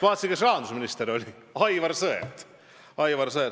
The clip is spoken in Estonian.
Vaatasin, kes rahandusminister oli – Aivar Sõerd.